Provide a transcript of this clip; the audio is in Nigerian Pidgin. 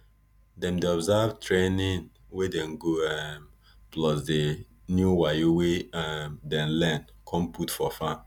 dem dey observe trianing wey dem go um plus di new wayo wey um dem learn con put for farm